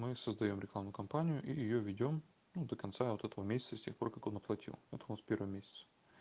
мы создаём рекламную кампанию и её ведём ну до конца вот этого месяца с тех пор как он оплатил это у нас первый месяц